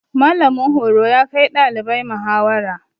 Mallamin horo ya kai ɗalibai muhawara.